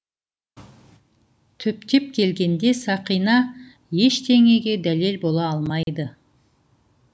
түптеп келгенде сақина ештеңеге дәлел бола алмайды